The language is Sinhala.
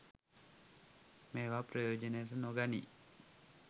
මේවා ප්‍රයෝජනයට නොගනී.